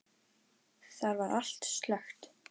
Þar var allt slökkt.